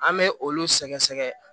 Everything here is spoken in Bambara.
An bɛ olu sɛgɛsɛgɛ